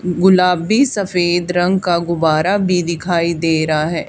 गुलाबी सफेद रंग का गुब्बारा भी दिखाई दे रहा है।